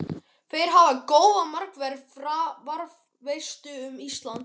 Þeir hafa góða markverði Hvað veistu um Ísland?